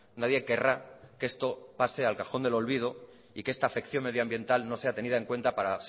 nadie querrá que esto pase al cajón del olvido y que esta afección medioambiental no sea tenida en cuenta para